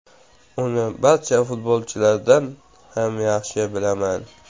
Uni barcha futbolchilardan ham yaxshi bilaman.